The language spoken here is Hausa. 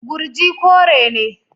Gurji kore ne.